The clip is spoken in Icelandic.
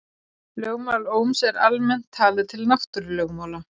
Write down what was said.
Lögmál Ohms er almennt talið til náttúrulögmála.